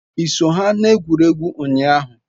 I so ha n'egwurugwu unyahu?